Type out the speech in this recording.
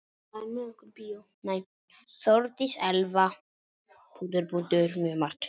Þórdís Elva: Mjög margt.